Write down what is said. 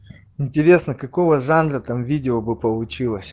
интересно какого жанра там видео бы получилось